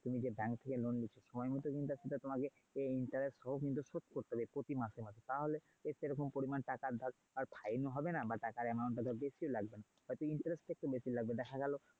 তুমি যে bank থেকে loan নিচ্ছ সময় মতো interest ও কিন্তু শোধ করতে হবে প্রতি মাসে মাসে তাহলে সে রকম পরিমাণ টাকার ধর আর fine ও হবে বা টাকার amount টা ধর বেশিও লাগবেনা। হয়তো interest তা একটু বেশি লাগবে। দেখা গেলো।